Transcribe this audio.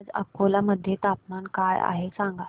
आज अकोला मध्ये तापमान काय आहे सांगा